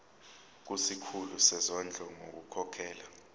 kusikhulu sezondlo ngokukhokhela